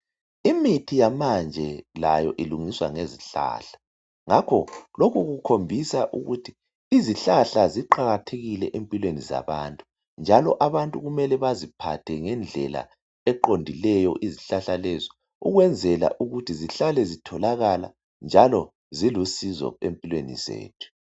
Imithi yamanje layo ilungiswa ngezihlahla ngakho lokhu kukhombisa ukuthi izihlahla ziqakathekile empilweni zabantu njalo abantu baziphathe ngendlela eqondileyo izihlahla lezo ukwenzela ukuthi zihlale zitholakala njalo zilusizo empilweni zethu